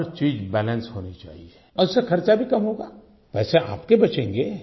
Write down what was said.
हर चीज़ बैलेंस होनी चाहिये और इससे खर्चा भी कम होगा पैसे आपके बचेंगे